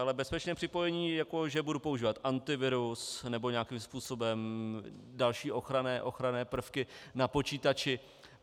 Ale bezpečné připojení - jako že budu používat antivirus nebo nějakým způsobem další ochranné prvky na počítači.